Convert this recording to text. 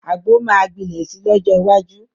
Àgbo máa gbilẹ̀ si lọ́jọ́ iwájú